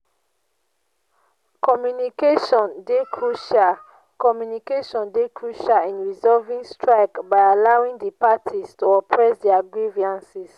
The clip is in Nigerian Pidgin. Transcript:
communication dey crucial communication dey crucial in resolving strike by allowing di parties to express their grievances.